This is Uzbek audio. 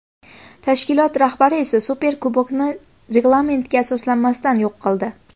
Tashkilot rahbari esa Superkubokni reglamentga asoslanmasdan yo‘q qildi.